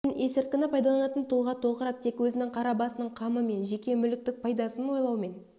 пен есірткіні пайдаланатын тұлға тоқырап тек өзінің қара басының қамы мен жеке мүліктік пайдасын ойлаумен